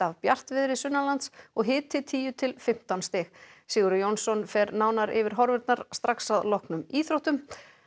bjartviðri og hiti tíu til fimmtán stig Sigurður Jónsson fer nánar yfir horfurnar strax að loknum íþróttum